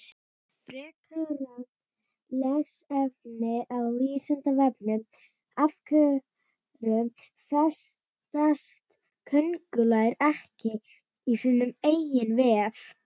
Frekara lesefni á Vísindavefnum Af hverju festast köngulær ekki í sínum eigin vef?